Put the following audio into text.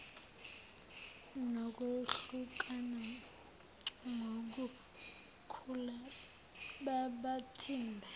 nokwehlukana ngobukhulu bamathimba